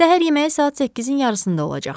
Səhər yeməyi saat 8-in yarısında olacaq.